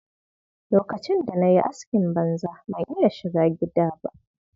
Lokacin da na yi askin banza, ban iya shiga gidda ba.